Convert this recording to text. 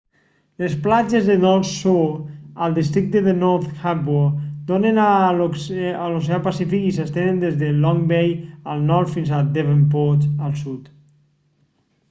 les platges de north shore al districte de north harbour donen a l'oceà pacífic i s'estenen des de long bay al nord fins a devonport al sud